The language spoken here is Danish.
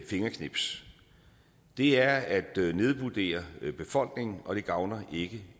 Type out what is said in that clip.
fingerknips det er at nedvurdere befolkningen og det gavner ikke